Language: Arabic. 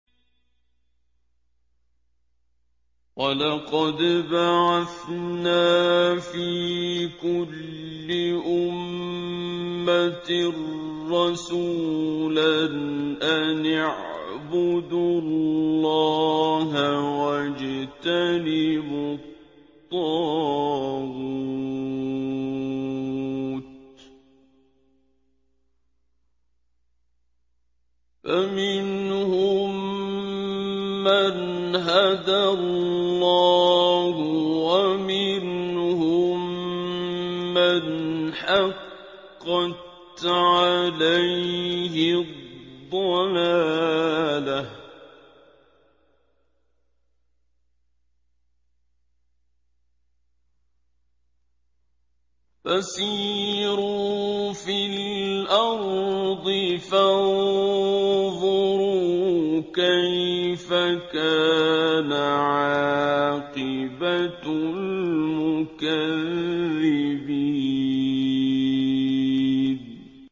وَلَقَدْ بَعَثْنَا فِي كُلِّ أُمَّةٍ رَّسُولًا أَنِ اعْبُدُوا اللَّهَ وَاجْتَنِبُوا الطَّاغُوتَ ۖ فَمِنْهُم مَّنْ هَدَى اللَّهُ وَمِنْهُم مَّنْ حَقَّتْ عَلَيْهِ الضَّلَالَةُ ۚ فَسِيرُوا فِي الْأَرْضِ فَانظُرُوا كَيْفَ كَانَ عَاقِبَةُ الْمُكَذِّبِينَ